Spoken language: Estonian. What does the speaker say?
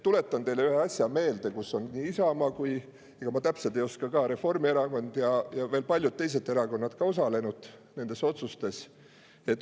Tuletan teile ühe asja meelde, kuidas on nii Isamaa – ega ma täpselt ei oska öeldagi –, aga ka Reformierakond ja veel paljud teised erakonnad osalenud nendes otsustes.